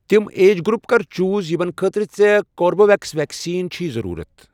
تِم age group کر چوز یِمَن خٲطرٕ ژےٚ کوربِویٚکس ویکسیٖن چھی ضرورت۔